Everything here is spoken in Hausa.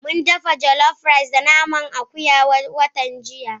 Mun dafa jollof rice da naman akuya watan jiya.